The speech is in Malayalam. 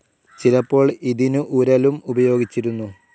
ചിലപ്പോൾ ഇതിനു ഉരലും ഉപയോഗിച്ചിരുന്നു.